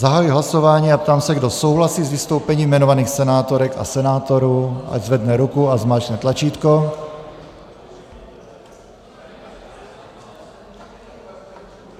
Zahajuji hlasování a ptám se, kdo souhlasí s vystoupením jmenovaných senátorek a senátorů, ať zvedne ruku a zmáčkne tlačítko.